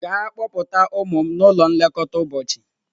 Gaa kpọpụta ụmụ m n'ụlọ nlekọta ụbọchị!